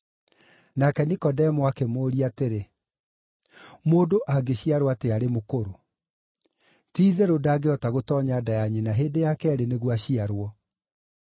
Nake Nikodemo akĩmũũria atĩrĩ, “Mũndũ angĩciarwo atĩa arĩ mũkũrũ? Ti-itherũ ndangĩhota gũtoonya nda ya nyina hĩndĩ ya keerĩ nĩguo aciarwo!”